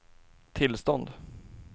tillstånd